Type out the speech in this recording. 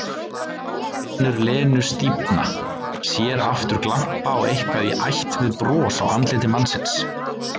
Finnur Lenu stífna, sér aftur glampa á eitthvað í ætt við bros á andliti mannsins.